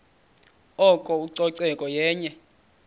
oko ucoceko yenye